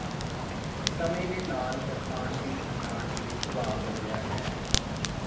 ਸਮੇਂ ਦੇ ਨਾਲ ਬਰਤਾਨਵੀ ਪਛਾਣ ਦੀ ਸੁਭਾਅ ਬਦਲਿਆ ਹੈ